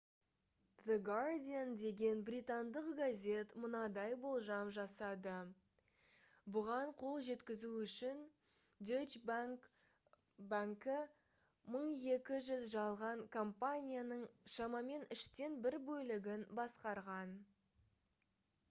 the guardian деген британдық газет мынадай болжам жасады бұған қол жеткізу үшін deutsche bank банкі 1200 жалған компанияның шамамен үштен бір бөлігін басқарған